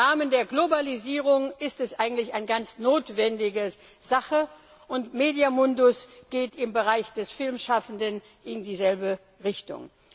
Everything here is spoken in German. im Rahmen der Globalisierung ist es eigentlich eine notwendige Sache, und MEDIA Mundus geht im Bereich der Filmschaffenden in dieselbe Richtung.